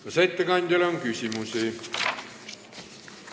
Kas ettekandjale on küsimusi?